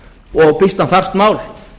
og býsna þarft mál